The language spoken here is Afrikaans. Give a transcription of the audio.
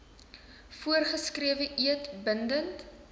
voorgeskrewe eed bindend